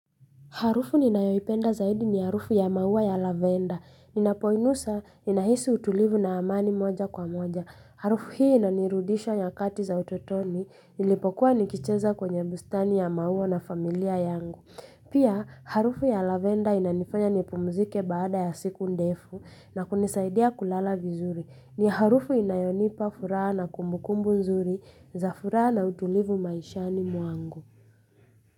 Harufu ninayoipenda zaidi ni harufu ya mauwa ya lavenda. Ninapoinusa, ninahisi utulivu na amani moja kwa moja. Harufu hii inanirudisha nyakati za utotoni. Nilipokuwa nikicheza kwenye bustani ya mauwa na familia yangu. Pia, harufu ya lavenda inanifanya nipumzike baada ya siku ndefu na kunisaidia kulala vizuri. Ni harufu inayonipa furaha na kumbukumbu nzuri za furaha na utulivu maishani mwangu.